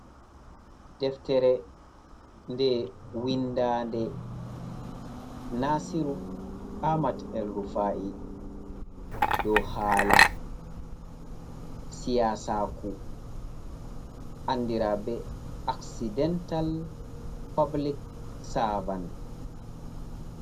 deftere nde windande nasiru amat’el rufa’i, do hala siyasaku andira be accidental public savan.